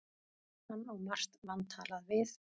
Hann á margt vantalað við